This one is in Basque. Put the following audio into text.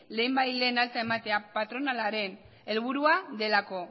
lehenbailehen alta ematea patronalaren helburua delako